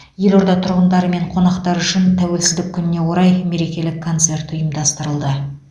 елорда тұрғындары мен қонақтары үшін тәуелсіздік күніне орай мерекелік концерт ұйымдастырылды